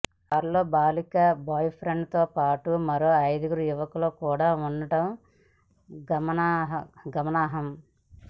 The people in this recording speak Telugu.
ఆ కారులతో బాలిక బాయ్ ఫ్రెండ్ తోపాటు మరో ఐదుగురు యువకులు కూడా ఉండటం గమనార్హం